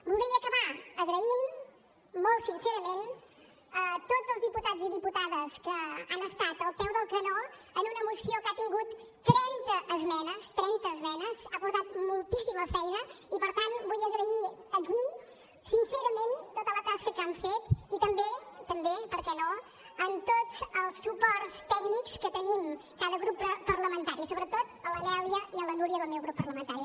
voldria acabar donar les gràcies molt sincerament a tots els diputats i diputades que han estat al peu del canó en una moció que ha tingut trenta esmenes trenta esmenes ha portat moltíssima feina i per tant vull agrair aquí sincerament tota la tasca que han fet i també també per què no a tots els suports tècnics que tenim cada grup parlamentari sobretot a la nèlia i a la núria del meu grup parlamentari